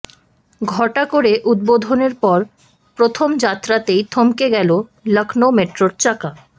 ঘটা করে উদ্বোধনের পর প্রথম যাত্রাতেই থমকে গেল লখনউ মেট্রোর চাকা